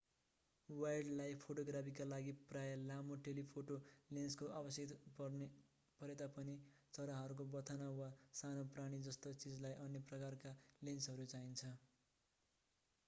wildlife फोटोग्राफीका लागि प्राय लामो टेलिफोटो लेन्सको आवश्यक परेता पनि चराहरूको बथान वा साना प्राणी जस्ता चीजलाई अन्य प्रकारका लेन्सहरू चाहिन्छ